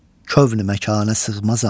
Kövn-ü məkana sığmazam.